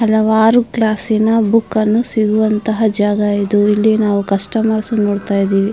ಹಲವಾರು ಕ್ಲಾಸ್ಸಿನ ಬುಕ್ಕನ್ನು ಸಿಗುವಂತಹ ಜಾಗ ಇದು ಇಲ್ಲಿ ನಾವು ಕಸ್ಟಮರ್ಸ್ ಅನ್ನು ನೋಡುತ್ತಾ ಇದ್ದಿವಿ.